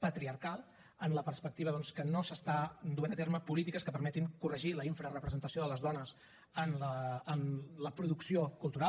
patriarcal en la perspectiva doncs que no s’estan duent a terme polítiques que permetin corregir la infrarepresentació de les dones en la producció cultural